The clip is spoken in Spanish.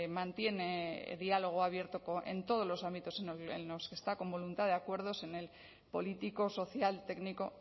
mantiene diálogo abierto en todos los ámbitos en los que está con voluntad de acuerdos en el político social técnico